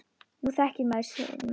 Nú þekkir maður sinn mann.